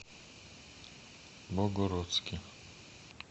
богородске